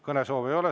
Kõnesoove ei ole.